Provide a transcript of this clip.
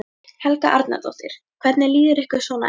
Helga Arnardóttir: Hvernig líður ykkur svona eftir þetta?